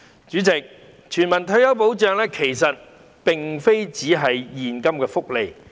主席，全民退休保障並非只是現金福利。